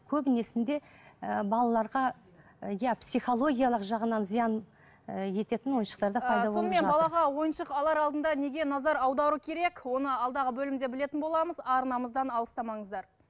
ііі балаларға иә психологиялық жағынан зиян ететін ойыншықтар да пайда болып сонымен балаға ойыншық алар алдында неге назар аудару керек оны алдағы бөлімде білетін боламыз арнамыздан алыстамаңыздар